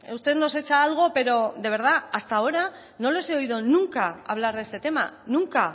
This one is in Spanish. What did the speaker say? usted nos hecha algo pero de verdad hasta ahora no les he oído nunca hablar de este tema nunca